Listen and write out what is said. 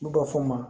N'u b'a fɔ o ma